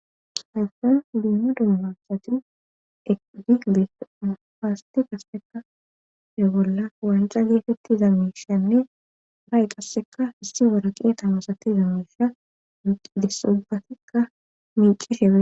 Heysson limma dummassati eqdi dpasati qasseka degolla wanca geetetti zammishanne ba7e qasseka hissi waraqeeta masati za misha desobatikka miicishe.